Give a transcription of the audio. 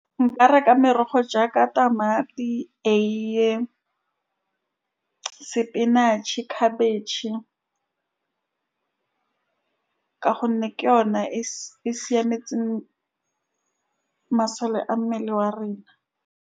Nka reka merogo jaaka tamati, eie, spinach-e, khabetšhe, ka gonne ke yona e e siametseng masole a mmele wa rena.